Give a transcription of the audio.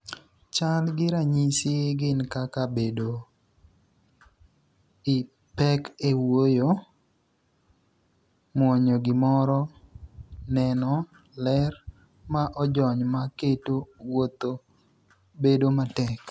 Chal gi ranyisi gin kaka bedo I pek e wuoyo ,muonyo gimoro, neno, ler ma ojony ma keto wuotho bedo matek.